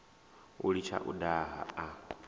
u litsha u daha a